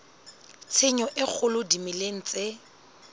tshenyo e kgolo dimeleng tse